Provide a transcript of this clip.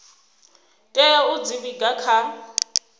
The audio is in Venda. tea u dzi vhiga kha